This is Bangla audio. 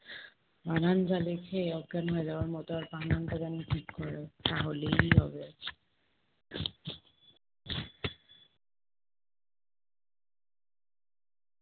বানান যা লেখে অজ্ঞান হয়ে যাওয়ার মতো আর বানানটা যেন ঠিক করে তাহলেই হবে